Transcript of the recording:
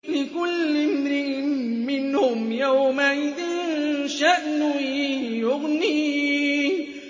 لِكُلِّ امْرِئٍ مِّنْهُمْ يَوْمَئِذٍ شَأْنٌ يُغْنِيهِ